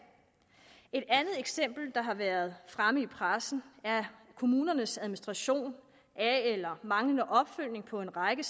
et andet eksempel der har været fremme i pressen er kommunernes administration af eller manglende opfølgning på en række